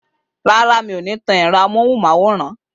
Rárá, mi ò ní tan ẹ̀rọ amóhùnmáwòrán.